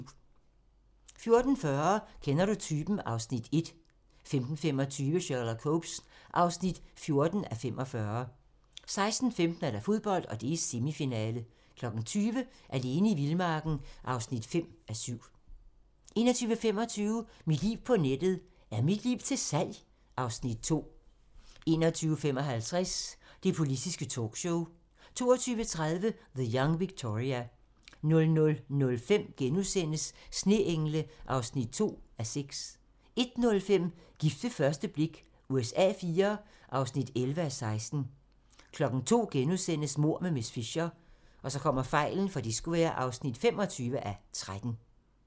14:40: Kender du typen? (Afs. 1) 15:25: Sherlock Holmes (14:45) 16:15: Fodbold: Semifinale 20:00: Alene i vildmarken (5:7) 21:25: Mit liv på nettet: Er mit liv til salg? (Afs. 2) 21:55: Det politiske talkshow 22:30: The Young Victoria 00:05: Sneengle (2:6)* 01:05: Gift ved første blik USA IV (11:16) 02:00: Mord med miss Fisher (25:13)*